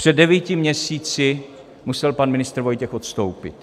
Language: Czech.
Před devíti měsíci musel pan ministr Vojtěch odstoupit.